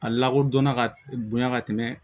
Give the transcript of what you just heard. A lakodɔnna ka bonya ka tɛmɛ